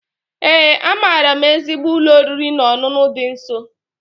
Ee, amaara m ezigbo ụlọ oriri na ọṅụṅụ dị nso.